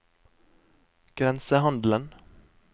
grensehandelen